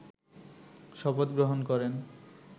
শপথ গ্রহণ করেন